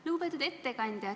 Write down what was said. Lugupeetud ettekandja!